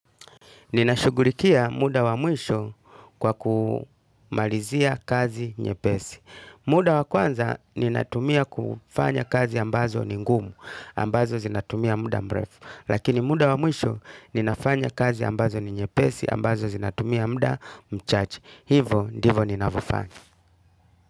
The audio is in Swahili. Ninashugulikia muda wa mwisho kwa kumalizia kazi nyepesi. Muda wa kwanza ninatumia kufanya kazi ambazo ni ngumu, ambazo zinatumia muda mrefu. Lakini muda wa mwisho ninafanya kazi ambazo ni nyepesi, ambazo zinatumia muda mchache. Hivo, ndivo ninavofanya.